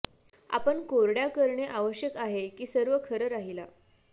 आपण कोरड्या करणे आवश्यक आहे की सर्व खरं राहिला